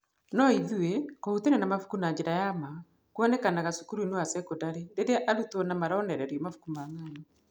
No ithuĩ, kũhutania na mabuku na njĩra ya ma, kũonekanaga cukuru-ĩnĩ wa cekondari rĩrĩa arutwa ma maronererio mabuku ma ng’ano